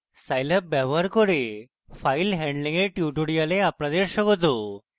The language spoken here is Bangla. scilab ব্যবহার করে file handling এর tutorial আপনাদের স্বাগত